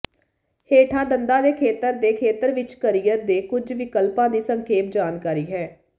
ਹੇਠਾਂ ਦੰਦਾਂ ਦੇ ਖੇਤਰ ਦੇ ਖੇਤਰ ਵਿੱਚ ਕਰੀਅਰ ਦੇ ਕੁੱਝ ਵਿਕਲਪਾਂ ਦੀ ਸੰਖੇਪ ਜਾਣਕਾਰੀ ਹੈ